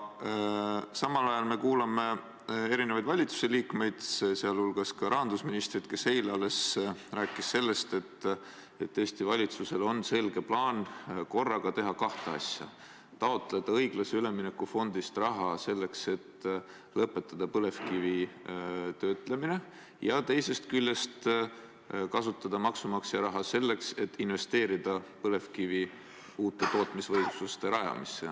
Samal ajal me kuulame erinevaid valitsuse liikmeid, sealhulgas ka rahandusministrit, kes eile alles rääkis, et Eesti valitsusel on selge plaan teha korraga kahte asja: taotleda õiglase ülemineku fondist raha, et lõpetada põlevkivi töötlemine, ja teisest küljest kasutada maksumaksja raha selleks, et investeerida põlevkivitööstuse uute tootmisvõimsuste rajamisse.